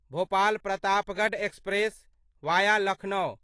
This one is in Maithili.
Bhopal Pratapgarh express via Lucknow